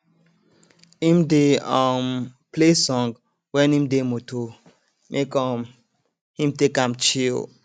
im dey um play song when im dey moto make um him take am chill